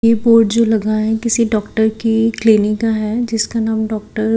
ये बोर्ड जो लगा है किसी डॉक्टर की क्लीनिक का है जिसका नाम डॉक्टर --